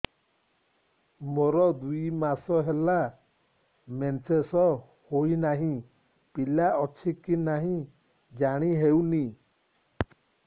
ମୋର ଦୁଇ ମାସ ହେଲା ମେନ୍ସେସ ହୋଇ ନାହିଁ ପିଲା ଅଛି କି ନାହିଁ ଜାଣି ହେଉନି